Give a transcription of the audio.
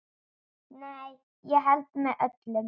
Nei, ég held með öllum.